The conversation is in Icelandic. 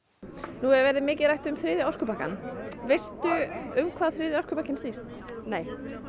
nú hefur verið mikið rætt um þriðja orkupakkann veistu um hvað þriðji orkupakkinn snýst nei